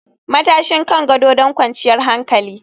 Matashin kan gado don kwanciyar hankali